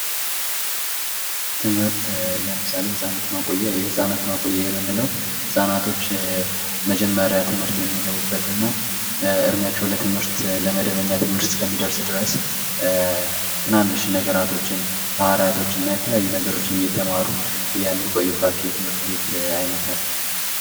ትምህርት ለምሳሌ ህጻናት መቆያ የህጻናት ማቆያ የምንለው ህፃናቶች መጀመሪያ ትምህርት የሚገቡበትና ትምህርት እድሚያቸው ለመደበኛ ትምህርት እስኪደርስ ድረስ ትናንሽ ነገራቶችና የተለያዩ ነገሮች እየተማሩ የሚቆዩባቸው ትምህርት ቤት አይነት ናቸው።